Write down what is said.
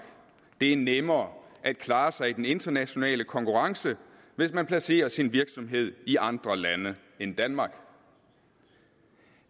det er nemmere at klare sig i den internationale konkurrence hvis man placerer sin virksomhed i andre lande end danmark